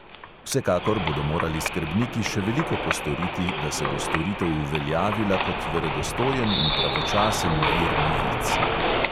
Vsekakor bodo morali skrbniki še veliko postoriti, da se bo storitev uveljavila kot verodostojen in pravočasen vir novic.